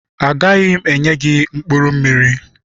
Agaghị m enye gị mkpụrụ mmiri.